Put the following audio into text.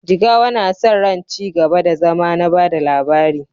Jigawa na sa ran ci gaba da zama na ba da labari